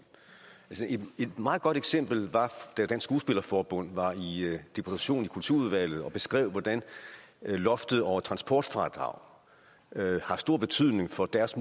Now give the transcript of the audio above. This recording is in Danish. et meget godt eksempel var da dansk skuespillerforbund var i deputation i kulturudvalget og beskrev hvordan loftet over transportfradraget har stor betydning for deres